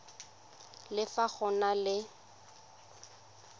le fa go na le